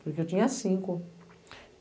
Porque eu tinha cinco.